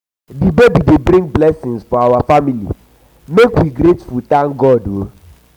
di baby dey bring blessings for our family make us grateful grateful thank god.